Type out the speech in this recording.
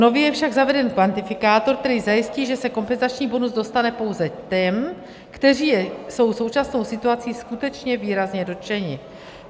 Nově je však zaveden kvantifikátor, který zajistí, že se kompenzační bonus dostane pouze těm, kteří jsou současnou situací skutečně výrazně dotčeni.